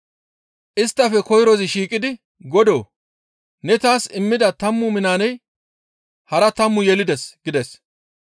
«Isttafe koyrozi shiiqidi, ‹Godoo! Ne taas immida tammu minaaney hara tammu yelides› gides.